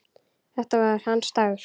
Þetta var hans dagur.